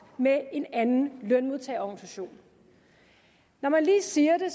med en anden lønmodtagerorganisation når man lige siger det